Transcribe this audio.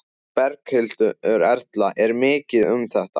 Berghildur Erla: Er mikið um þetta?